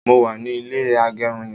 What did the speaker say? mo wà ni ilé agerun yen